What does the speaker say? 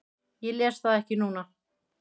Ég les það ekki núna.